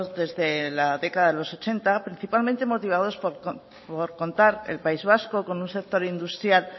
desde la década de los ochenta principalmente motivados por contar el país vasco con un sector industrial